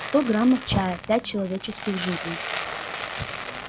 сто граммов чая пять человеческих жизней